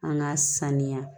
An ka sanuya